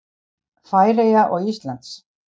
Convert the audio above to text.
Færeyja og Íslands.